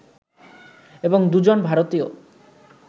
এবং দুজন ভারতীয়